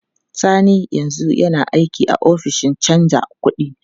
Sani yanzu yana aiki a ofishin canja kuɗi.